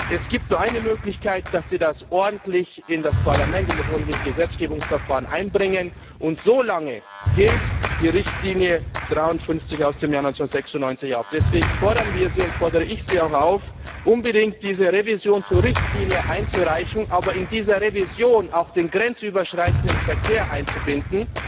Es gibt nur eine Möglichkeit dass Sie das ordentlich im Parlament, im ordentlichen Gesetzgebungsverfahren einbringen, und so lange gilt die Richtlinie 53 aus dem Jahr 1996. Deshalb fordern wir und fordere ich Sie auch auf, unbedingt diese Revision zur Richtlinie einzureichen, aber in diese Revision auch den grenzüberschreitenden Verkehr einzubinden.